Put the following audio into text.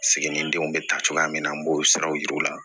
Siginidenw bɛ ta cogoya min na an b'o siraw yir'u la